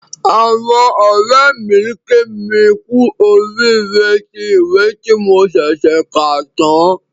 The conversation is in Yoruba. Àwọn ọ̀rẹ́ mi kí mi kú oríire tí ìwé tí mo ṣẹ̀ṣẹ̀ kà tán